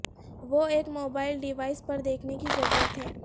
وہ ایک mobile device پر دیکھنے کی ضرورت ہے